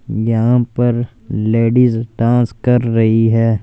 यहां पर ladies dance कर रही है।